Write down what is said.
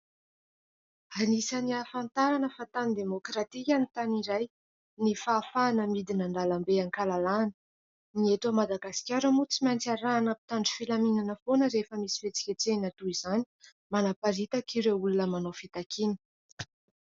Anisan'ny hahafantarana fa tany demokratika ny tany iray ny fahafahana midina andalambe an-kalalahana. Ny eto Madagasikara moa tsy maintsy arahana mpitandro filaminana foana rehefa misy fietsiketsehina toy izany manparitaka ireo olona manao fitakiana.